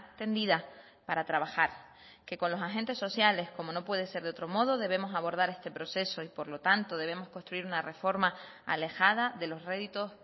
tendida para trabajar que con los agentes sociales como no puede ser de otro modo debemos abordar este proceso y por lo tanto debemos construir una reforma alejada de los réditos